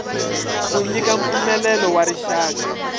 ku nyika mpfumelelo wa rixaka